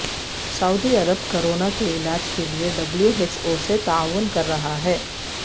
سعودی Arab corona کےعلاج کے لیے ڈبلیو ایچ او سے تعاون کررہا ہے